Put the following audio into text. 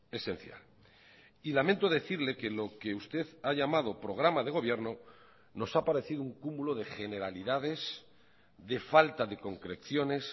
esencial y lamento decirle que lo que usted ha llamado programa de gobierno nos ha parecido un cúmulo de generalidades de falta de concreciones